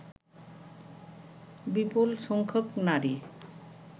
বিপুল সংখ্যক নারী